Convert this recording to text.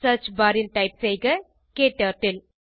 search bar ல் type செய்க க்டர்ட்டில்